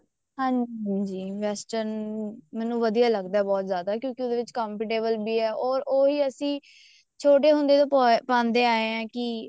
ਹਾਂਜੀ western ਮੈਨੂੰ ਵਧੀਆ ਲੱਗਦਾ ਬਹੁਤ ਜਿਆਦਾ ਕਿਉਂਕਿ ਉਹਦੇ ਚ comfortable ਵੀ ਆ or ਉਹੀ ਅਸੀਂ ਛੋਟੇ ਹੁੰਦੇ ਤੋਂ ਪਾਉਂਦੇ ਆਏ ਹਾਂ ਕੀ